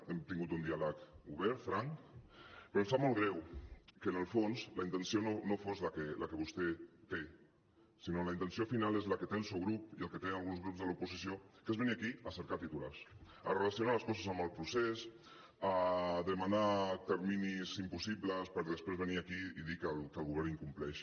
hem tingut un diàleg obert franc però em sap molt greu que en el fons la intenció no fos la que vostè té sinó que la intenció final és la que té el seu grup i la que tenen alguns grups de l’oposició que és venir aquí a cercar titulars a relacionar les coses amb el procés a demanar terminis impossibles per després venir aquí i dir que el govern incompleix